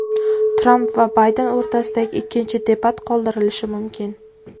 Tramp va Bayden o‘rtasidagi ikkinchi debat qoldirilishi mumkin.